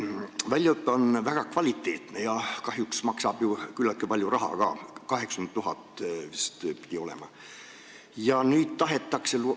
Väljaõpe on väga kvaliteetne, aga kahjuks maksab see küllaltki palju raha ka – 80 000 eurot pidi vist olema.